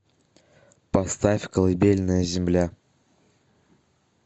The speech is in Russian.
поставь колыбельная земля